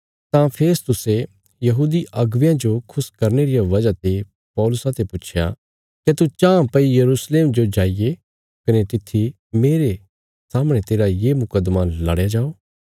तां फेस्तुसे यहूदी अगुवेयां जो खुश करने रिया इच्छा ते पौलुसा ते पुच्छया क्या तू चाँह भई यरूशलेम जो जाईये कने तित्थी मेरे सामणे तेरा ये मुकद्दमा लड़या जाओ